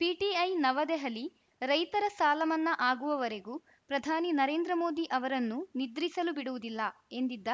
PTI New Delhi ರೈತರ ಸಾಲಮನ್ನಾ ಆಗುವವರೆಗೂ ಪ್ರಧಾನಿ ನರೇಂದ್ರ ಮೋದಿ ಅವರನ್ನು ನಿದ್ರಿಸಲು ಬಿಡುವುದಿಲ್ಲ ಎಂದಿದ್ದ